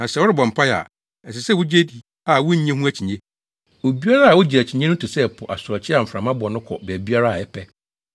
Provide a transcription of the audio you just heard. Na sɛ worebɔ mpae a, ɛsɛ sɛ wugye di a wunnye ho akyinnye. Obiara a ogye akyinnye no te sɛ po asorɔkye a mframa bɔ no kɔ baabiara a ɛpɛ.